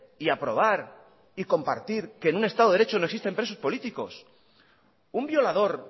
y aprobar y compartir que en un estado de derecho no existen presos políticos un violador